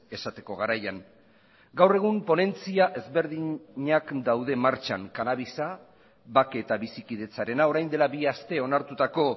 esateko garaian gaur egun ponentzia ezberdinak daude martxan kannabisa bake eta bizikidetzarena orain dela bi aste onartutako